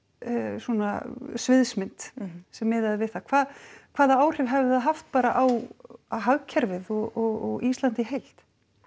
svona sviðsmynd sem miðaði við það hvaða hvaða áhrif hefði það haft bara á hagkerfið og Ísland í heild